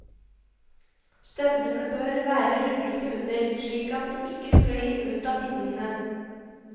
Støvlene bør være ruglete under, slik at de ikke sklir ut av bindingene.